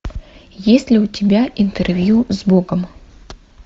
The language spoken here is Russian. есть ли у тебя интервью с богом